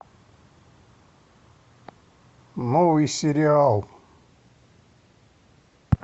новый сериал